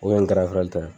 O ye n ye